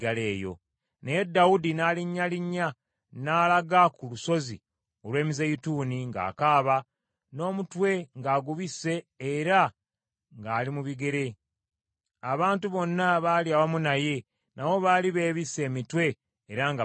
Naye Dawudi n’alinnyalinnya n’alaga ku lusozi olw’Emizeeyituuni ng’akaaba, n’omutwe ng’agubisse era ng’ali mu bigere . Abantu bonna abaali awamu naye nabo baali beebisse emitwe era nga bakaaba.